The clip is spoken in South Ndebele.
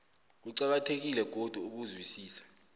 kuqakathekile godu ukuzwisisa